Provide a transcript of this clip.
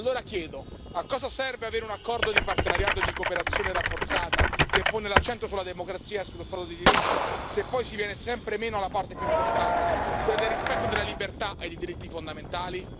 Allora chiedo a cosa serve avere un accordo di partenariato e di cooperazione rafforzata che pone l'accento sulla democrazia e sullo Stato di diritto, se poi si viene sempre meno alla parte più importante, quella del rispetto della libertà e dei diritti fondamentali?